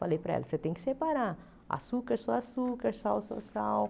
Falei para ela, você tem que separar açúcar, só açúcar, sal, só sal.